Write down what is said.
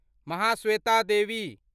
Mahasweta Devi